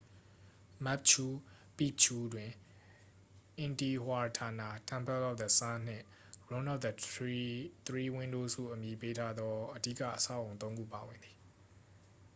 မက်ပ်ချူ ပီပ်ချူး တွင် intihuatana temple of the sun နှင့် room of the three windows ဟုအမည်ပေးထားသော အဓိက အဆောက်အအုံ သုံးခုပါဝင်သည်